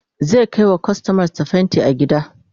zai Kai wa kustomar sa fainti gida